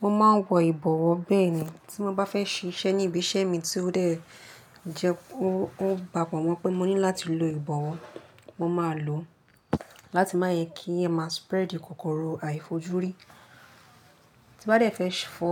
Mo máa ń wọ ìbọ̀wọ́ bẹ́ẹ̀ ni tí mo bá fẹ́ ṣiṣẹ́ ní ibi iṣẹ́ mi tí ó dẹ́ jẹ kí ó pàpo mọ́ pé mo ní láti lo ìbọ̀wọ́, mo máa lò ó láti má yẹ kí a má spread kòkòrò àìfojúrí. Tí n bá dẹ́ fẹ́ fọ,